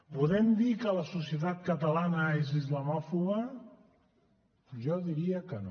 podem dir que la societat catalana és islamòfoba jo diria que no